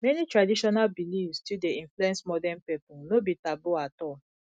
many traditional beliefs still dey influence modern pipo no be taboo at all